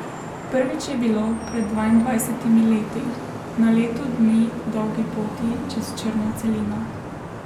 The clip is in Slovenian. Prvič je bilo pred dvaindvajsetimi leti, na leto dni dolgi poti čez črno celino.